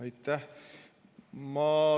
Aitäh!